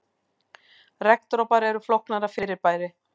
Regndropar eru flóknara fyrirbæri.